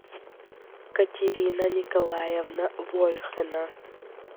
катерина николаевна вольхина